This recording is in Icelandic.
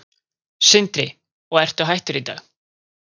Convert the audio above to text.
Sindri: Og ertu hættur í dag?